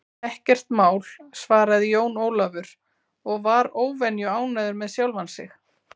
Ekkert mál, svaraði Jón Ólafur og var óvenju ánægður með sjálfan sig.